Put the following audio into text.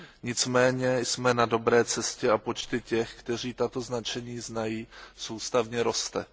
Nicméně jsme na dobré cestě a počty těch, kteří tato značení znají, soustavně rostou.